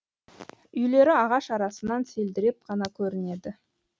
үйлері ағаш арасынан селдіреп қана көрінеді